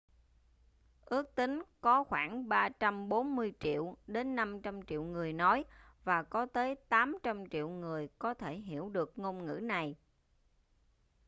ước tính có khoảng 340 triệu đến 500 triệu người nói và có tới 800 triệu người có thể hiểu được ngôn ngữ này